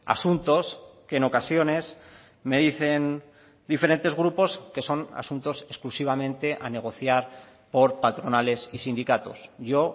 asuntos que en ocasiones me dicen diferentes grupos que son asuntos exclusivamente a negociar por patronales y sindicatos yo